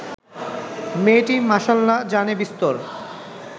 মেয়েটি মাসাল্লা জানে বিস্তর